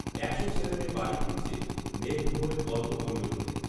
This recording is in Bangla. একশো ছেলেমেয়ে বাড়ি ফিরছে মেঘভ্রমণের গল্প বলবে বলে